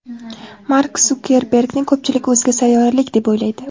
Mark Sukerbergni ko‘pchilik o‘zga sayyoralik deb o‘ylaydi.